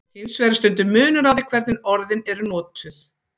Hins vegar er stundum munur á því hvernig orðin eru notuð.